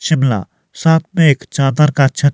शिमला साथ में एक चादर का छत--